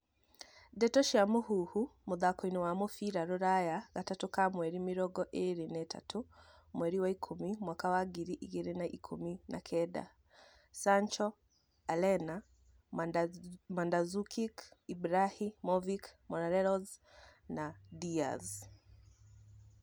Ndeto cia Mũhuhu, mũthakoini wa mũbĩra rũraya, gatatũ ka mweri mĩrongo ĩrĩ na ĩtatũ, mweri wa ikũmi, mwaka wa ngiri igĩrĩ na ikũmi na kenda:Sancho, Alena, Mandzukic, Ibrahimovic, Morelos, Diaz